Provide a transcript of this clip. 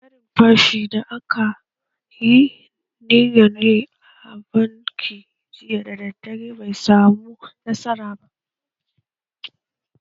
Harin fashi da aka yi niyan yi a bankin jiya daddare bai samu nasara ba.